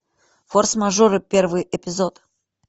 форс мажоры первый эпизод